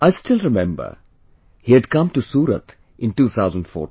I still remember he had come to Surat in 2014